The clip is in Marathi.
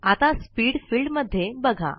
आता स्पीड फिल्डमध्ये बघा